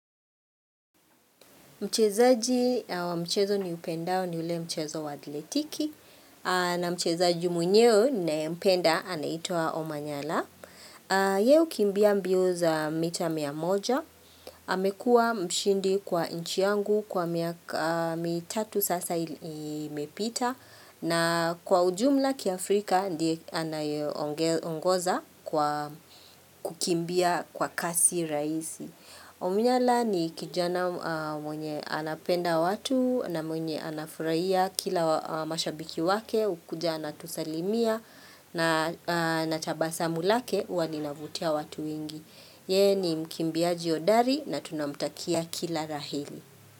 Mchezaji wa mchezo niupendao ni ule mchezo wa athletiki na mchezaji mwenyewe ninayempenda anaitwa Omanyala. Yeye hukimbia mbio za mita mia moja. Amekua mshindi kwa nchi yangu kwa miaka mitatu sasa imepita, na kwa ujumla kiafrika ndiye anayeongoza, kwa kukimbia kwa kasi rahisi. Omanyala ni kijana mwenye anapenda watu na mwenye anafurahia kila mashabiki wake, hukuja anatusalimia na tabasamu lake huwa linavutia watu wengi. Yeye ni mkimbiaji hodari na tunamtakia kila la heri.